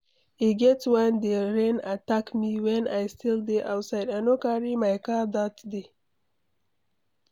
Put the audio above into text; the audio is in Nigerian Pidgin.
E get one day rain attack me wen I still dey outside, I no carry my car dat day.